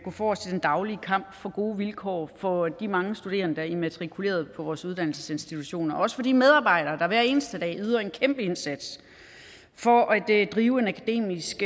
forrest i den daglig kamp for gode vilkår for de mange studerende der er immatrikuleret på vores uddannelsesinstitutioner også for de medarbejdere der hver eneste dag yder en kæmpe indsats for at drive en akademisk